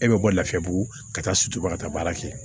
E bɛ bɔ lafiyabugu ka taa sutura ka taa baara kɛ